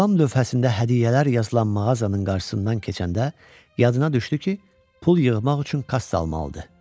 Reklam lövhəsində hədiyyələr yazılan mağazanın qarşısından keçəndə yadına düşdü ki, pul yığmaq üçün kassa almalıdır.